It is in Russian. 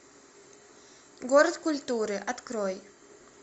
город культуры открой